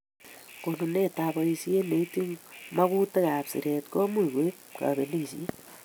Konunetab boishet neityin magutikab siret komuchi koib kabelishet